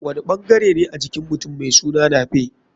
Wani ɓangarene a jikin mutum mai suna nape?